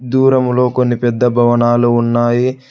దూరంలో కొన్ని పెద్ద భవనాలు ఉన్నాయి.